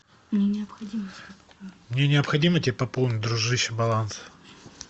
мне необходимо тебе пополнить дружище баланс